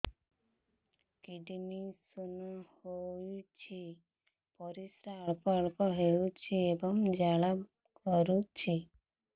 kidney stone ହୋଇଛି ପରିସ୍ରା ଅଳ୍ପ ଅଳ୍ପ ହେଉଛି ଏବଂ ଜ୍ୱାଳା କରୁଛି